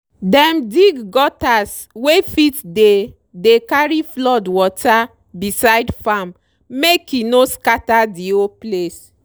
dem dig gutters wey fit dey dey carry flood water beside farm make e no scatter the whole place.